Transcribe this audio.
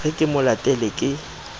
re ke mo letele ke